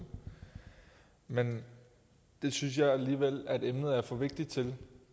men det synes jeg alligevel emnet er for vigtigt til